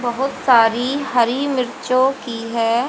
बहुत सारी हरी मिर्चों की है।